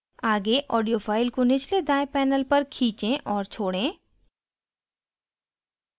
आगे audio file को निचले दायें panel पर खींचे और छोड़ें